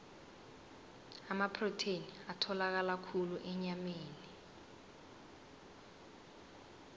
amaprotheni atholakala khulu enyameni